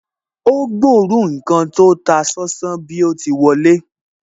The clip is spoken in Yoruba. Ó gbóòórùn ǹkan tí ó ń ta sánsán bí o ti wọlé